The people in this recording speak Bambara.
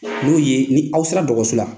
N'u ye ni aw sera dɔgɔso la.